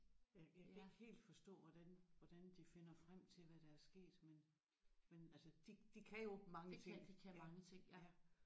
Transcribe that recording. Øh jeg kan ikke helt forstå hvordan hvordan de finder frem til hvad der er sket men men altså de de kan jo mange ting ja ja